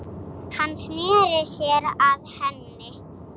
Hann sneri sér að henni.